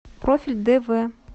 профиль дв